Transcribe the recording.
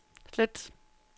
slet